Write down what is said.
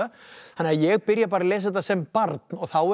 þannig að ég byrja að lesa þetta sem barn og þá er